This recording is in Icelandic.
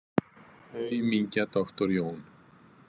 Aumingja doktor Jón.